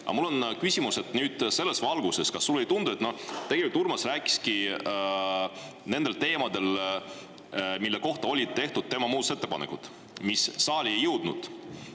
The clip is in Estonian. Aga mul on küsimus selles valguses, et kas sulle ei tundu tegelikult, et Urmas rääkiski nendel teemadel, mille kohta olid tehtud tema muudatusettepanekud, mis saali ei jõudnud.